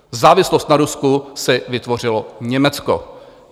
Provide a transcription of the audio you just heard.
Závislost na Rusku si vytvořilo Německo.